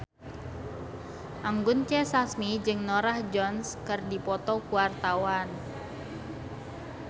Anggun C. Sasmi jeung Norah Jones keur dipoto ku wartawan